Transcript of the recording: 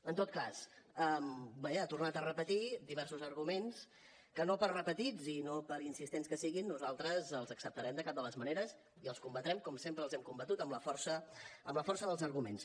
en tot cas vaja ha tornat a repetir diversos arguments que no per repetits i no per insistents que siguin nosaltres els acceptarem de cap de les maneres i els combatrem com sempre els hem combatut amb la força dels arguments